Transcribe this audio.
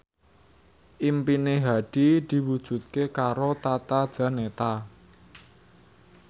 impine Hadi diwujudke karo Tata Janeta